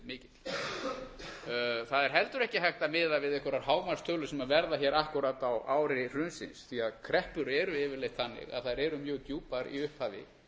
hefur verið mikill það er heldur ekki hægt að miða við einhverjar hámarkstölur sem verða hér akkúrat á ári hrunsins því kreppur eru yfirleitt þannig að þær eru mjög djúpar í upphafi